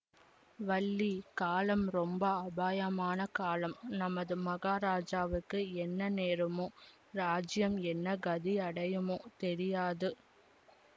வள்ளி காலம் ரொம்ப அபாயமான காலம் நமது மகாராஜாவுக்கு என்ன நேருமோ ராஜ்யம் என்ன கதியடையுமோ தெரியாது